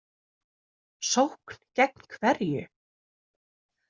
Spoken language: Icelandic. Sókn gegn hverju?